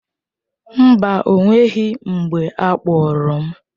Mba, o nweghị mgbe a kpagburu m.